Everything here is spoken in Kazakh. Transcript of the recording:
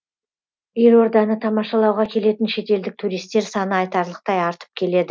елорданы тамашалауға келетін шетелдік туристер саны айтарлықтай артып келеді